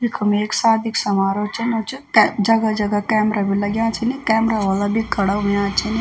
यखम एक सादी क समाहरोह चनू च कै जगह जगह कैमरा भी लग्याँ छिन कैमरा व्आला भी खड़ा हुयां छन।